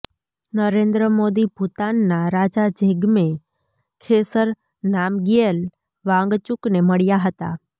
નરેન્દ્ર મોદી ભુતાનના રાજા જિગ્મે ખેસર નામગ્યેલ વાંગચુકને મળ્યા હતા